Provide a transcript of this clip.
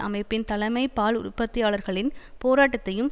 அமைப்பின் தலைமை பால் உற்பத்தியாளர்களின் போராட்டத்தையும்